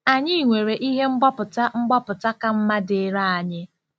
Anyị nwere ihe mgbapụta mgbapụta ka mma dịịrị anyị.